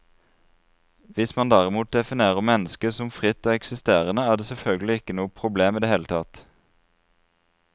Hvis man derimot definerer mennesket som fritt og eksisterende, er det selvfølgelig ikke noe problem i det hele tatt.